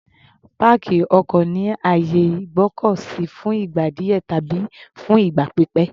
Páàkì ọkọ̀ ni àyè ìgbọ́kọ̀ sí fún ìgbà díẹ̀ tàbí fún ìgbà pípẹ̀.